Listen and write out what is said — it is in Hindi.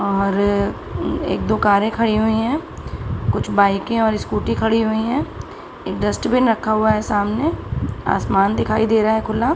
और एक दो कारे खड़ी हुई हैं कुछ बाइके और स्कूटी खड़ी हुई है एक डस्टबिन रखा हुआ है सामने आसमान दिखाई दे रहा है खुला।